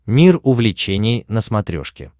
мир увлечений на смотрешке